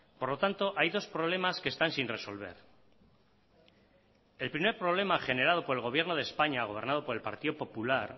por lo tanto hay dos problemas que están sin resolver el primer problema generado por el gobierno de españa gobernado por el partido popular